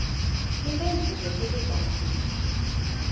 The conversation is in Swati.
timphendvulo teligama linye